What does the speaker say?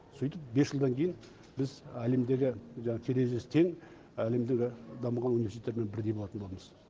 сөйтіп бес жылдан кейін біз әлемдегі жаңағы терезесі тең әлемдегі дамыған университеттермен бірдей болатын боламыз